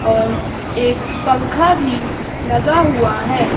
और एक पंखा भी लगा हुआ है।